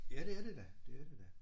Ja det er det da det er det da